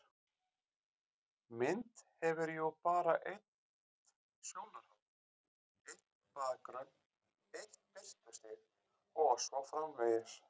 Mynd hefur jú bara eitt sjónarhorn, einn bakgrunn, eitt birtustig og svo framvegis.